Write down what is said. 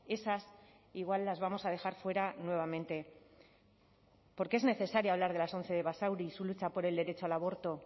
esas igual las vamos a dejar fuera nuevamente porque es necesario hablar de las once de basauri y su lucha por el derecho al aborto